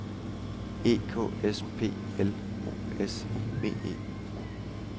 E K S P L O S I V E